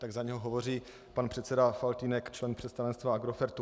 Tak za něj hovoří pan předseda Faltýnek, člen představenstva Agrofertu.